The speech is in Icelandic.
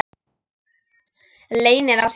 Leynir á sér!